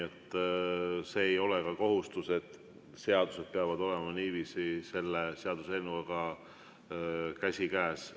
Ei ole kohustust, et seadused peavad käima seaduseelnõuga niiviisi käsikäes.